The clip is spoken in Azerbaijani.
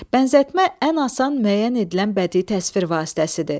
Bənzətmə ən asan müəyyən edilən bədii təsvir vasitəsidir.